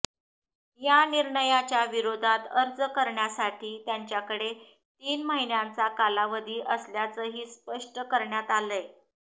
या निर्णयाच्या विरोधात अर्ज करण्यासाठी त्यांच्याकडे तीन महिन्यांचा कालावधी असल्याचंही स्पष्ट करण्यात आलंय